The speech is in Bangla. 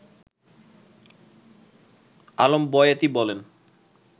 আলম বয়াতি বলেন